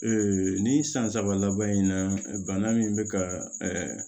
ni san saba laban in na bana min bɛ ka